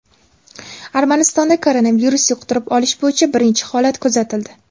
Armanistonda koronavirus yuqtirib olish bo‘yicha birinchi holat kuzatildi.